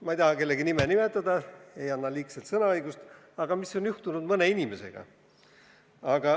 Ma ei taha kellegi nime nimetada, ei anna neile täiendavat sõnaõigust.